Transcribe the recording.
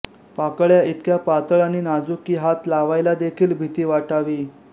पाकळ्या इतक्या पातळ आणि नाजूक की हात लावायलादेखील भीती वाटावी